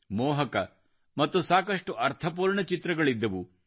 ಮೋಹಕ ಮತ್ತು ಸಾಕಷ್ಟು ಅರ್ಥಪೂರ್ಣ ಚಿತ್ರಗಳಿದ್ದವು